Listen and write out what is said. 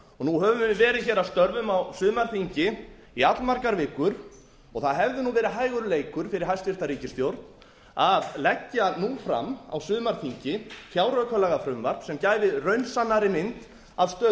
nú höfum við verið að störfum á sumarþingi í allmargar vikur og það hefði verið hægur leikur fyrir hæstvirt ríkisstjórn að leggja nú fram á sumarþingi fjáraukalagafrumvarp sem gæfi raunsannari mynd af stöðu